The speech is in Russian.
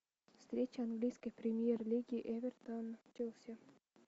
встреча английской премьер лиги эвертон челси